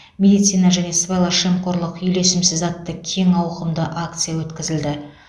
медицина және сыбайлас жемқорлық үйлесімсіз атты кең ауқымды акция өткізілді